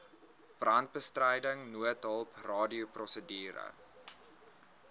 brandbestryding noodhulp radioprosedure